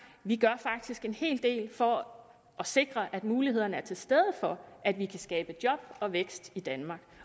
vi gør faktisk en hel del for at sikre at mulighederne er til stede for at vi kan skabe job og vækst i danmark